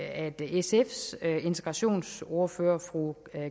at sfs integrationsordfører fru